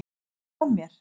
Hvað var að mér!